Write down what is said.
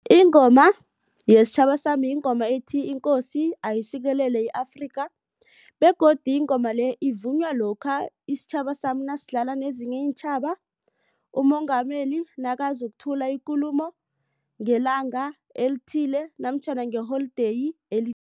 Ingoma yesitjhaba sami yingoma ethi, inkosi ayisikelele i-Afrika begodu ingoma le ivunywa lokha isitjhaba sami nasidlala nezinye iintjhaba uMongameli nakazokuthula ikulumo ngelanga elithile namtjhana ngeholideyi